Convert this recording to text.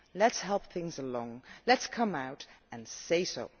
Let us help things along, let us come out and say so.